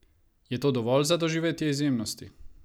Je to dovolj za doživetje izjemnosti?